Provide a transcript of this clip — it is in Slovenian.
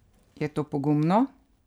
Je to pogumno?